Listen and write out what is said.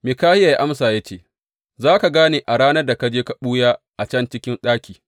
Mikahiya ya amsa ya ce, Za ka gane a ranar da ka je ka ɓuya a can cikin ɗaki.